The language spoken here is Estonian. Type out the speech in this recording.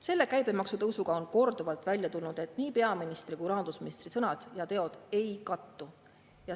Selle käibemaksu tõusuga on korduvalt välja tulnud, et nii peaministri kui ka rahandusministri sõnad ja teod ei kattu.